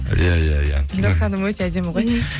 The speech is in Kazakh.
иә иә иә гүлнұр ханым өте әдім ғой